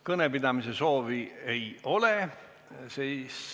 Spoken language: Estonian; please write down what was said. Kõnepidamise soovi ei ole.